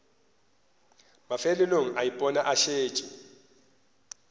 mafelelong a ipona a šetše